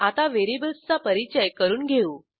आता व्हेरिएबल्सचा परिचय करून घेऊ